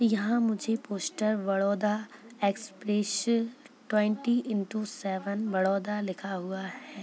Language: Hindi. यहाँ मुझे poster Baroda express twenty into seven Baroda लिखा हुआ है।